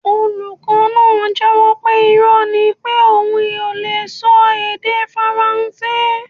Olukọ naa jẹ́wọ́ pe irọ́ ni pé oun lee sọ èdè faransé